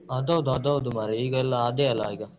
ಅದ್ ಹೌದು ಅದ್ ಹೌದು ಮಾರೆ ಈಗ ಎಲ್ಲ ಅದೆ ಅಲ ಈಗ.